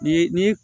Ni ni